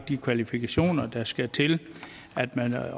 de kvalifikationer der skal til